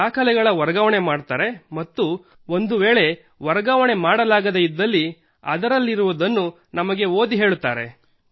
ದಾಖಲೆಗಳ ವರ್ಗಾವಣೆ ಮಾಡುತ್ತಾರೆ ಮತ್ತು ಒಂದುವೇಳೆ ವರ್ಗಾವಣೆ ಮಾಡಲಾಗದೇ ಇದ್ದಲ್ಲಿ ಅದರಲ್ಲಿರುವುದನ್ನು ನಮಗೆ ಓದಿ ಹೇಳುತ್ತಾರೆ